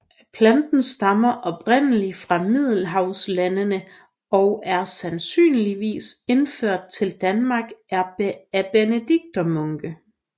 Planten stammer oprindelig fra middelhavslandene og er sandsynligvis indført til Danmark af benediktinermunke